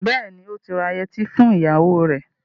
Bẹ́ẹ̀ni, ó ti ra yẹtí fún ìyàwó rẹ.